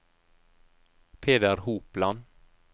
Peter Hopland